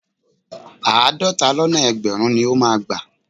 Àádọ́ta lọ́nà ẹgbẹ̀rún ni ó máa gbà.